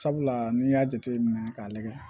Sabula n'i y'a jateminɛ k'a lagɛ